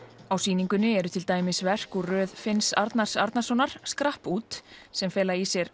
á sýningunni eru til dæmis verk úr röð Finns Arnarsonar Arnarsonar skrapp út sem fela í sér